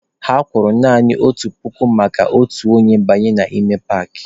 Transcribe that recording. Ha kwụrụ naanị otu puku maka otu onye ịbanye n'ime paakị.